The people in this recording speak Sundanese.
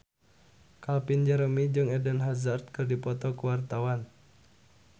Calvin Jeremy jeung Eden Hazard keur dipoto ku wartawan